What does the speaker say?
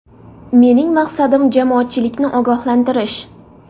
Mening maqsadim jamoatchilikni ogohlantirish.